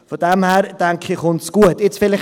Von daher, denke ich, kommt es gut.